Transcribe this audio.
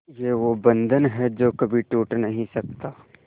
ये वो बंधन है जो कभी टूट नही सकता